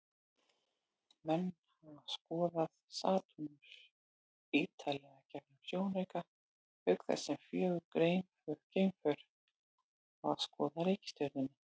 Menn hafa skoðað Satúrnus ýtarlega gegnum sjónauka, auk þess sem fjögur geimför hafa skoðað reikistjörnuna.